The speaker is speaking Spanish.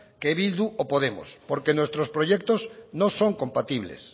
que bildu o podemos porque nuestros proyectos no son compatibles